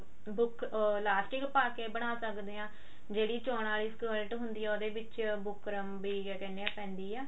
book ਉਹ elastic ਪਾ ਕੇ ਬਣਾ ਸਕਦੇ ਹਾਂ ਜਿਹੜੀ ਚਿਨਾਂ ਅਲੀ skirt ਹੁੰਦੀ ਆ ਉਹਦੇ ਵਿੱਚ ਬੁਕਰਮ ਵੀ ਕਿਆ ਕਹਿੰਦੇ ਆ ਪੈਂਦੀ ਆ